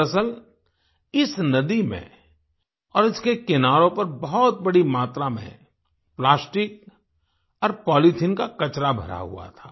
दरअसल इस नदी में और इसके किनारों पर बहुत बड़ी मात्रा में प्लास्टिक और पॉलिथीन का कचरा भरा हुआ था